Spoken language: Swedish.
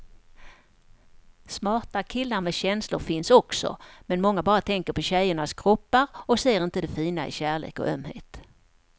Smarta killar med känslor finns också, men många bara tänker på tjejernas kroppar och ser inte det fina i kärlek och ömhet.